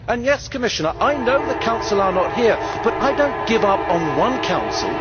Yes, Commissioner, I know the Council is not here, but I do not give up on one Council.